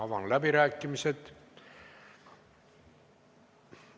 Avan läbirääkimised.